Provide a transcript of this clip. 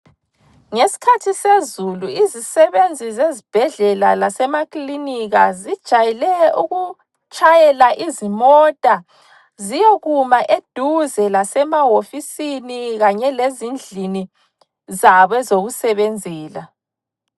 Ngeskhathi sezulu izisebenzi zezibhedlela lasemaklinika zijayele ukutshayela izimota ziyekuma eduze lasemahofisini kanye lezindlini zabo ezokusebenzela.